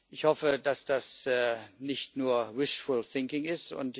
Ich hoffe, dass das nicht nur ist.